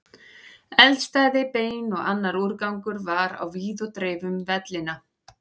Eldstæði, bein og annar úrgangur var á víð og dreif um vellina.